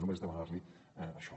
només demanar li això